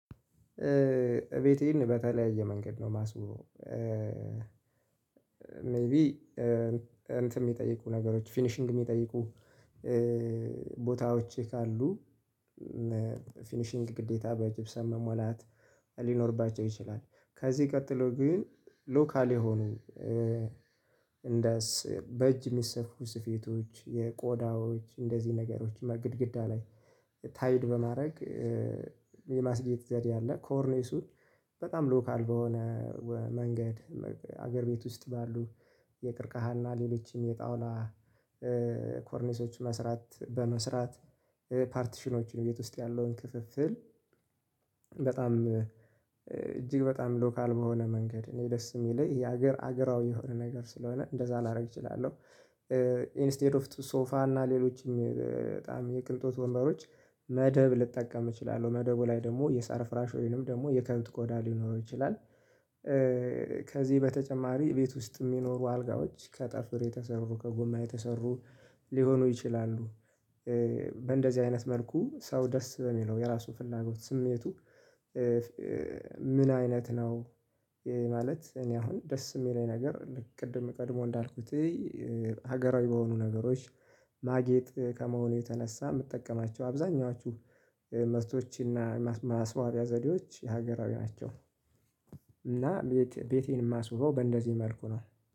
እቤቴን በተለያየ መንገድ ነው የማስበው። ሜይቢ እንትን የሚጠይቁ ነገሮች ፊኒሺንግ የሚጠይቁ ቦታዎች ካሉ ፊኒሺንግ ግዴታ በጅብሰን መሞላት ሊኖርባቸው ይችላል። ከዚህ ቀጥሎ ግን ሎካል የሆኑ እንደስ በእጅ የሚሰፍሩ ስፌቶች የቆዳዎች እንደዚህ ነገሮችም ግድግዳ ላይ ታይድ በማድረግ የማስጌጥ ዘዴ ያለ ኮርኔሱን በጣም ሎካል በሆነ መንገድ። ሀገር ቤት ውስጥ ባሉ የቅርቀሃና ሌሎችም የጣና ኮርኔሶች መስራት በመስራት ፓርቲሽኖችን ቤት ውስጥ ያለውን ክፍፍል በጣም እጅግ በጣም ሎካል በሆነ መንገድ እኔ ደስ የሚለኝ የሀገር ሀገራዊ የሆነ ነገር ስለሆነ እንደዛ ላደርግ እችላለሁ። ኢንስተድ ኦፍ ሶፋ እና ሌሎችም በጣም የቅንጦት ወንበሮች መደብ ልጠቀም እችላለሁ መደቡ ላይ ደግሞ የሳር ፍራሾይንም ደግሞ የከብት ቆዳ ሊኖረው ይችላል። ከዚህ በተጨማሪ ቤት ውስጥ የሚኖሩ አልጋዎች ከጠፍር የተሰሩ ከጎማ የተሰሩ ሊሆኑ ይችላሉ። በእንደዚህ አይነት መልኩ ሰው ደስ በሚለው የራሱ ፍላጎት ስሜቱ ምን አይነት ነው? ማለት እኔ አሁን ደስ የሚለኝ ነገር ልክ ቅድም ቀድሞ እንዳልኩት ሀገራዊ በሆኑ ነገሮች ማጌጥ ከመሆኑ የተነሳ የምትጠቀማቸው አብዛኛዎቹ መስቶችና መስዋቢያ ዘዴዎች የሀገራዊ ናቸው። እና ቤቴን የማስውረው በእንደዚህ መልኩ ነው።